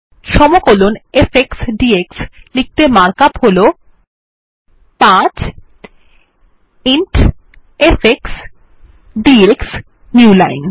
সমকলন f x d x লিখতে mark up হল 5 int f x d x Newline